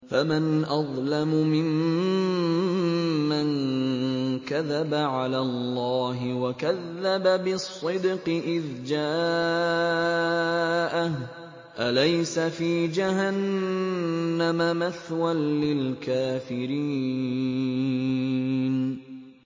۞ فَمَنْ أَظْلَمُ مِمَّن كَذَبَ عَلَى اللَّهِ وَكَذَّبَ بِالصِّدْقِ إِذْ جَاءَهُ ۚ أَلَيْسَ فِي جَهَنَّمَ مَثْوًى لِّلْكَافِرِينَ